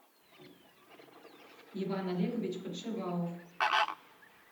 иван олегович подшивалов